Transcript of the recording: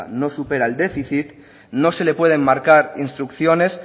no supera el déficit no se le puede marcar instrucciones